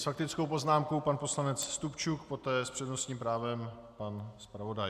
S faktickou poznámkou pan poslanec Stupčuk, poté s přednostním právem pan zpravodaj.